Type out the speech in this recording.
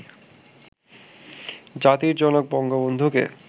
জাতির জনক বন্ধবন্ধুকে